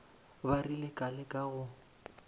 ba rile ka leka go